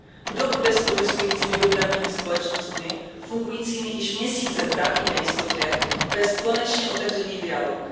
Kdo bude s protestujícími dopravními společnostmi fungujícími již měsíce v právní nejistotě vést konečně otevřený dialog?